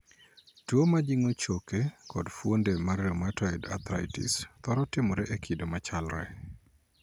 Tuo majingo choke kod fuonde mar 'rheumatoid arthritis' thoro timore e kido machalre.